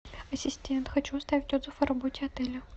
ассистент хочу оставить отзыв о работе отеля